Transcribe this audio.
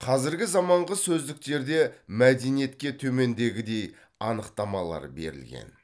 қазіргі заманғы сөздіктерде мәдениетке төмендегідей анықтамалар берілген